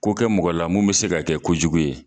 Ko kɛ mɔgɔ la mun bi se ka kɛ kojugu ye